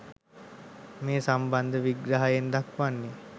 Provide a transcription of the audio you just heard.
මේ සම්බන්ධ විග්‍රහයෙන් දක්වන්නේ